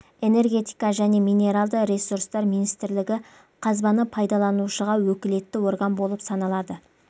энергетика және минералды ресурстар министрлігі қазбаны пайдаланушыға өкілетті орган болып саналады